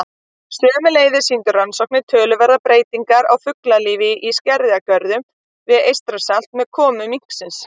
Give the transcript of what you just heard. Sömuleiðis sýndu rannsóknir töluverðar breytingar á fuglalífi í skerjagörðum við Eystrasalt með komu minksins.